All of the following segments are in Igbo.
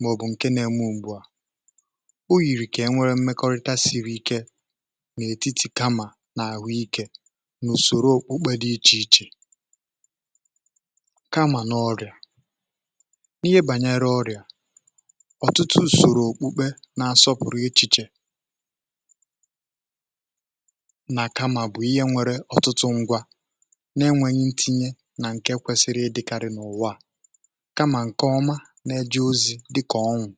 màọ̀bụ̀ ǹkẹ nà ẹmẹ òbùò o yìrì kà e nwẹ̀rẹ̀ mmẹkọrịta siri ike n’ètitì kamà n’àhụ ikė n’ùsòro òkpukpe dị ichè ichè kamà n’ọrịà ihe bànyẹrẹ ọrịà na-asọpụ̀rụ̀ echiche nà-àkamà bụ̀ ihe nwere ọtụtụ ngwȧ na-enwėnyė ntinye nà ǹkè kwesịrị ịdịkàrị̀ n’ụ̀wà kamà ǹkè ọma na-eji̇ ozi̇ dịkà ọnwụ̇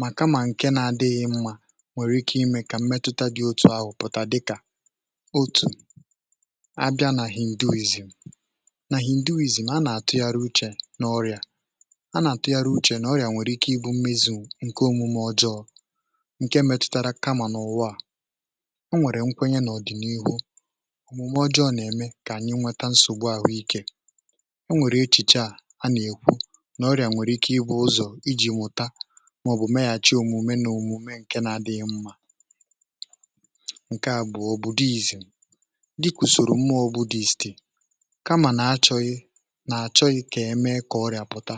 mà kamà ǹke na-adịghị̇ mmȧ nwèrè ike imė kà mmetuta dị̇ otu̇ ahụ̀ pụ̀ta dịkà otù abịa nà hì ǹdivìzì nà hì ǹdivìzì a nà-àtụ yȧrụ uchè n’ọrịà a um nà-àtụ yȧrụ uchè n’ọrịà nwèrè ike ịbụ̇ mmizu̇ ǹke metụtara kamà n’ụwa a o nwèrè nkwenye n’ọ̀dìnirwu omume ọjọọ nà-eme kà ànyi nweta nsògbu àhụ ikė o nwèrè echiche a nà-ekwu n’ọrị̀à nwèrè ike ịbụ̇ ụzọ̀ iji̇ nwụta màọ̀bụ̀ meyàchie òmume nà òmume ǹke na-adịghị mmȧ ǹke a bụ̀ òbòdò izì dịkwùsòrò mmȧọ̇ budist kamà nà-achọghị nà-àchọghị kà eme kà ọrị̀à pụta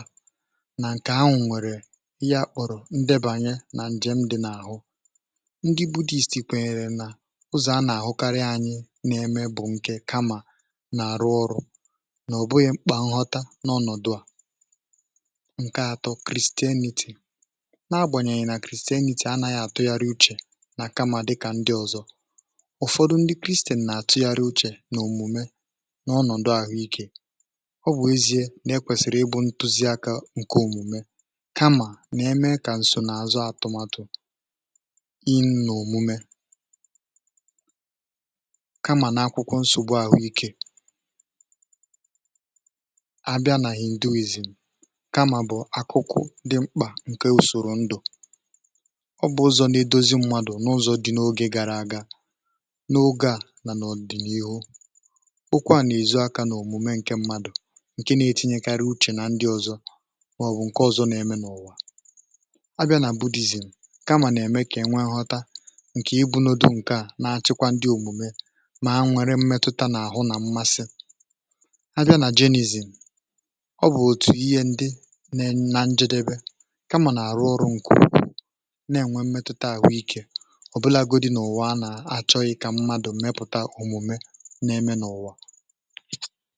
nà ǹkè ha nwèrè ya kpọ̀rọ̀ ndebanye ndị budhist kwènyèrè nà ụzọ̀ a nà-àhụkarị um anyị n’eme bụ̀ ǹkè kamà nà-àrụ ọrụ̇ nà ò bụghị mkpà nghọta n’ọnọ̀dụ̀ a ǹkè atọ̇ christianity nà-agbànyènyè nà christianity anȧghị̇ àtụgharị uchè nà kamà dị kà ndị ọ̀zọ ụ̀fọdụ ndị christian nà-àtụgharị uchè n’òmùme n’ọnọ̀dụ̀ àhụ ikė ọ bụ̀ ezie nà-ekwèsìrì ịbụ̇ ntuziaka ǹkè òmùme ịnọ̀mume kamà n’akwụkwọ nsògbu ahụ ikė ạbịa nà hì ndu ìzì kamà bụ̀ akụkụ dị mkpà ǹke ùsòrò ndụ̀ ọ bụ̀ ụzọ̀ nà idȯzi mmadụ̀ n’ụzọ̀ dị n’ogė gara aga n’oge a nà n’ọ̀dị̀n’ihu bụkwa nà ẹ̀zụ aka n’òmùme ǹke mmadụ̀ ǹke na-etinyekarị uchè nà ndị ọ̀zọ màọbụ̀ ǹke ọ̀zọ na-eme n’ọ̀wà nkè um ịbụ̇nodu nke à na-achịkwa ndị òmùme mà ha nwere mmẹtụta n’àhụ nà mmasị a bịa nà genuzi ọ bụ̀ òtù ihe ndị na na njedebe kamà nà-àrụ ọrụ nkụ̇ na-ènwe mmẹtụta àhụ ikė ọ̀bụlagodi n’ụ̀wa a nà-àchọghị kà mmadù mmẹpụ̀ta òmùme na-eme n’ụ̀wa.